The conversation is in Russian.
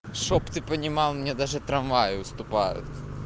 чтоб ты понимал мне даже трамваи уступают